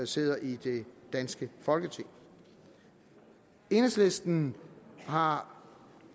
sidder i det danske folketing enhedslisten har